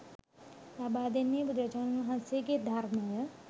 ලබා දෙන්නේ බුදුරජාණන් වහන්සේගේ ධර්මය